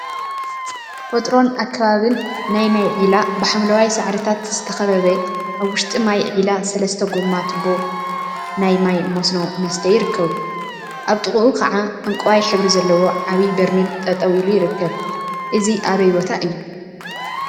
ተፈጥሮን አከባቢን ናይ ማይ ዒላ ብሓምለዋይ ሳዕሪታት ዝተከበበ አብ ውሽጢ ማይ ዒላ ሰለስተ ጎማ ቱባ ናይ ማይ መስኖ መስተይ ይርከቡ፡፡ አብ ጥቅዑ ከዓ ዕንቋይ ሕብሪ ዘለዎ ዓብይ በርሚል ጠጠወ ኢሉ ይርከብ፡፡ እዚይ አበይ ቦታ እዩ?